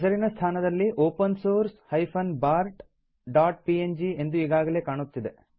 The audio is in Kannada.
ಹೆಸರಿನ ಸ್ಥಾನದಲ್ಲಿ ಒಪೆನ್ ಸೋರ್ಸ್ bartpng ಎಂದು ಈಗಾಗಲೇ ಕಾಣುತ್ತಿದೆ